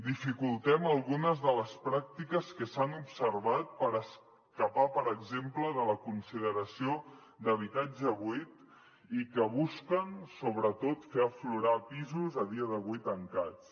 dificultem algunes de les pràctiques que s’han observat per escapar per exemple de la consideració d’habitatge buit i que busquen sobretot fer aflorar pisos a dia d’avui tancats